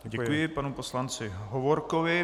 Děkuji panu poslanci Hovorkovi.